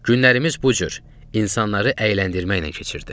Günlərimiz bu cür insanları əyləndirməklə keçirdi.